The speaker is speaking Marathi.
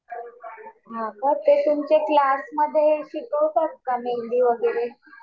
हा का. ते तुमच्या क्लासमध्ये शिकवतात का मेहेंदी वगैरे.